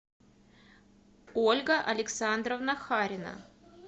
ольга александровна харина